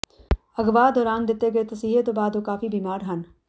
ਅਗਵਾ ਦੌਰਾਨ ਦਿੱਤੇ ਗਏ ਤਸੀਹੇ ਤੋਂ ਬਾਅਦ ਉਹ ਕਾਫੀ ਬੀਮਾਰ ਹਨ